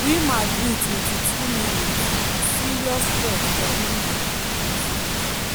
real madrid 22mins- serious threat for real madrid post.